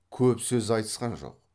көп сөз айтысқан жоқ